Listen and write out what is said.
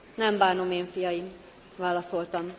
Nem bánom én, fiaim válaszoltam.